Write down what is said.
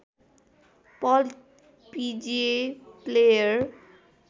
पल्ट पिजिए प्लेयर